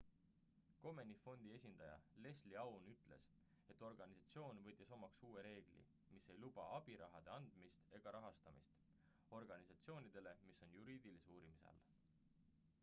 komeni fondi esindaja leslie aun ütles et organisatsioon võttis omaks uue reegli mis ei luba abirahade andmist ega rahastamist organisatsioonidele mis on juriidilise uurimise all